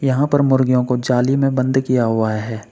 यहां पर मुर्गियों को जाली में बंद किया हुआ है।